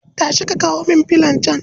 Tashi ka kawo min filon can